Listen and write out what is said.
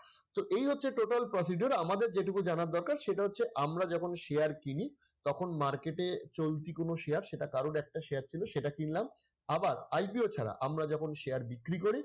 তো এই হচ্ছে total procedure আমাদের যেটুকু জানার দরকার সেটা হচ্ছে আমরা যখন share কিনি তখন market এ চলতি কোন share সেটা কারোর একটা share ছিল এটা কিনলাম আবার IPO ছাড়া আমরা যখন share বিক্রি করি